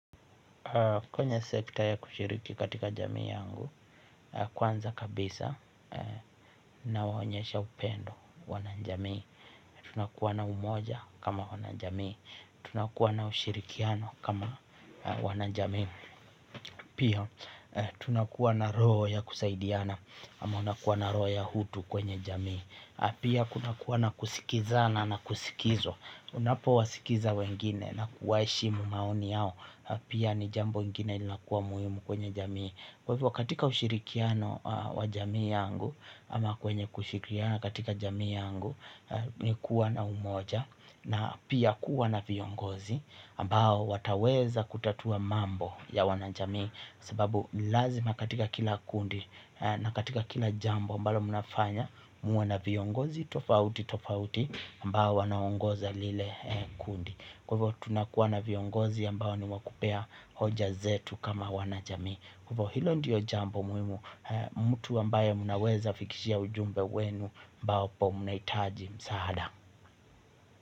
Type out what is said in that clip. Kwenye sekta ya kushiriki katika jamii yangu, kwanza kabisa na wanyesha upendo wana jamii, tunakuwa na umoja kama wana jamii, tunakuwa na ushirikiano kama wana jamii, pia tunakuwa na roho ya kusaidiana, ama unakuwa na roho ya hutu kwenye jamii. Pia kuna kuwa na kusikiza na na kusikizo. Unapo wasikiza wengine na kuwaheshi mumaoni yao. Pia ni jambo ingine linakuwa muhimu kwenye jamii. Kwa hivyo katika ushirikiano wa jamii yangu. Ama kwenye kushirikiana katika jamii yangu ni kuwa na umoja na pia kuwa na viongozi ambao wataweza kutatua mambo ya wana jamii kwa sababu lazima katika kila kundi. Na katika kila jambo ambalo munafanya muwe na viongozi tofauti tofauti ambao wanaongoza lile kundi. Kwa hivyo tunakuwa na viongozi ambao ni wa kupea hoja zetu kama wanajamii. Kwa hivyo hilo ndiyo jambo muhimu mtu ambaye munaweza fikishia ujumbe wenu ambapo munahitaji msaada.